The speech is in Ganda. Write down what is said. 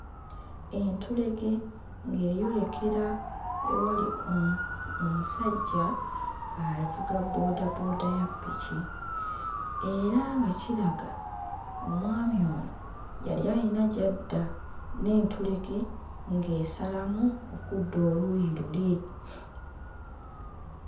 Entulege ng'eyolekera ewali omu omusajja avuga boodabooda ya ppiki era nga kiraga omwami ono yali ayina gy'adda n'entulege ng'esalamu okudda oluuyi luli.